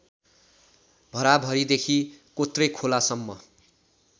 भराभरीदेखि कोत्रेखोलासम्म